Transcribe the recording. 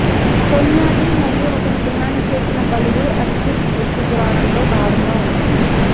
టొన్యాటి మరియు అతను డిమాండ్ చేసిన బలులు అజ్టెక్ సృష్టి పురాణంలో భాగంగా ఉన్నాయి